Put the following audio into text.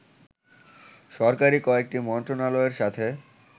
সরকারি কয়েকটি মন্ত্রণালয়ের সাথে